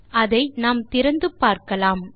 அதை நாம் திறந்து பார்க்கலாம்